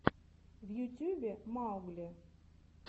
в ютьюбе маугли